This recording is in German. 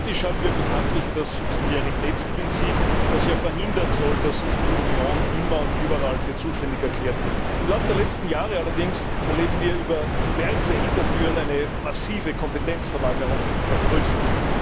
Theoretisch haben wir bekanntlich das Subsidiaritätsprinzip, das ja verhindern soll, dass sich die Union immer und überall für zuständig erklärt. Im Lauf der letzten Jahre allerdings erleben wir über diverse Hintertüren eine massive Kompetenzverlagerung nach Brüssel.